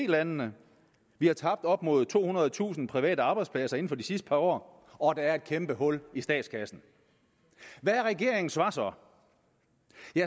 landene vi har tabt op mod tohundredetusind private arbejdspladser inden for de sidste par år og der er et kæmpe hul i statskassen hvad er regeringens svar så